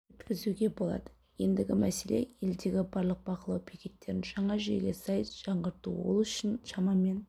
өткізуге болады ендігі мәселе елдегі барлық бақылау бекеттерін жаңа жүйеге сай жаңғырту ол үшін шамамен